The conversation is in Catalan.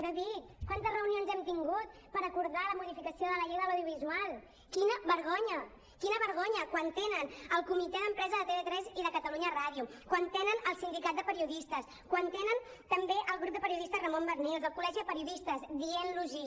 david quantes reunions hem tingut per acordar la modificació de la llei de l’audiovisual quina vergonya quina vergonya quan tenen el comitè d’empresa de tv3 i de catalunya ràdio quan tenen el sindicat de periodistes quan tenen també el grup de periodistes ramon barnils el col·legi de periodistes dient los hi